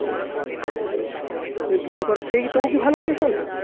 তো বিয়ের পর ও তবু কি ভালো আছে সোনু